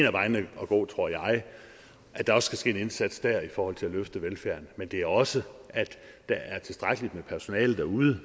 af vejene at gå tror jeg at der også skal ske en indsats der i forhold til at løfte velfærden men det er også at der er tilstrækkelig med personale derude